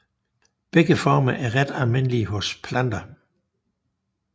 Begge former er ret almindelige hos planter